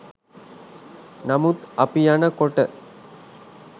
නමුත් අපි යන කොට